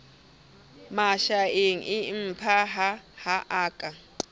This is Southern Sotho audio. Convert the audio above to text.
mashaeng empaha ho a ka